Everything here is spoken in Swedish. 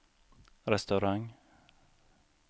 restaurang